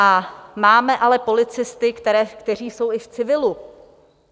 A máme ale policisty, kteří jsou i v civilu.